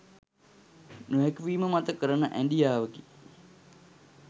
නොහැකි වීම මත කරන ඇඞියාවකි